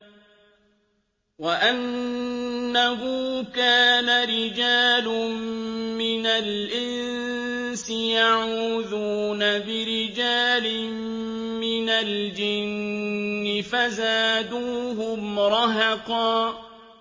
وَأَنَّهُ كَانَ رِجَالٌ مِّنَ الْإِنسِ يَعُوذُونَ بِرِجَالٍ مِّنَ الْجِنِّ فَزَادُوهُمْ رَهَقًا